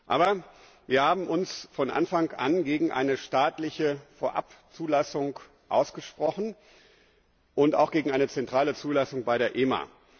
Aber wir haben uns von Anfang an gegen eine staatliche Vorabzulassung ausgesprochen und auch gegen eine zentrale Zulassung bei der EMA.